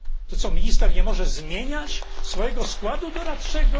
To co, minister nie może zmieniać swojego składu doradczego?